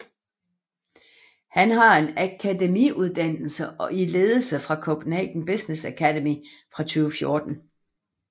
Han har en akademiuddannelse i ledelse fra Copenhagen Business Academy fra 2014